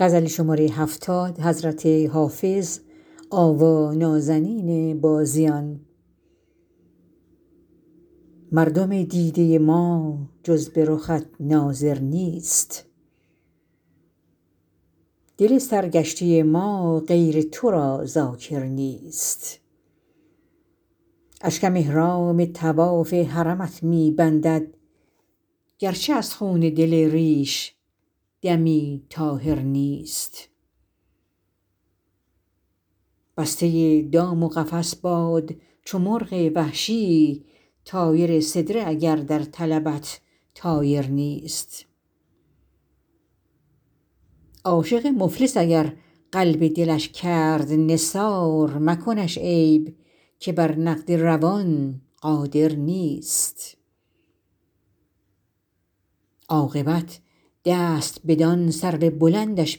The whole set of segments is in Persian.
مردم دیده ما جز به رخت ناظر نیست دل سرگشته ما غیر تو را ذاکر نیست اشکم احرام طواف حرمت می بندد گرچه از خون دل ریش دمی طاهر نیست بسته دام و قفس باد چو مرغ وحشی طایر سدره اگر در طلبت طایر نیست عاشق مفلس اگر قلب دلش کرد نثار مکنش عیب که بر نقد روان قادر نیست عاقبت دست بدان سرو بلندش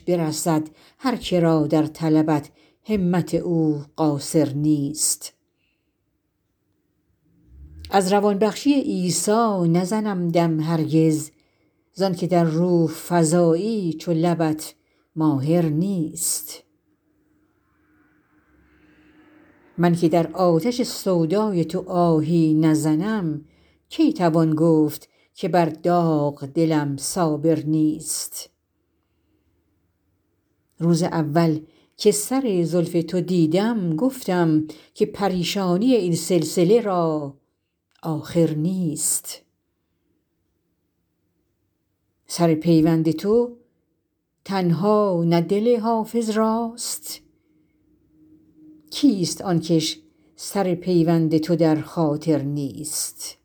برسد هر که را در طلبت همت او قاصر نیست از روان بخشی عیسی نزنم دم هرگز زان که در روح فزایی چو لبت ماهر نیست من که در آتش سودای تو آهی نزنم کی توان گفت که بر داغ دلم صابر نیست روز اول که سر زلف تو دیدم گفتم که پریشانی این سلسله را آخر نیست سر پیوند تو تنها نه دل حافظ راست کیست آن کش سر پیوند تو در خاطر نیست